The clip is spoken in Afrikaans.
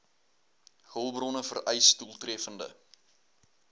hulpbronne vereis doeltreffende